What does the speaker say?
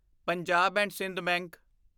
Punjab and Sind bank